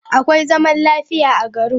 Akwai zaman lafiya a garin.